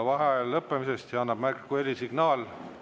Vaheaja lõppemisest annab märku helisignaal.